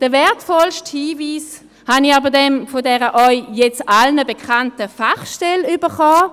Den wertvollsten Hinweis habe ich dann von der jetzt allseits bekannten Fachstelle bekommen.